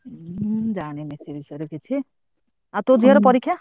ମୁଁ ଜାଣିନୀ ସେ ବିଷୟରେ କିଛି ଆଉ ତୋ ଝିଅର ପରୀକ୍ଷା?